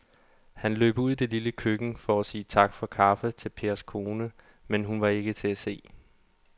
Han løb ud i det lille køkken for at sige tak for kaffe til Pers kone, men hun var ikke til at se.